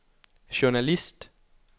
journalist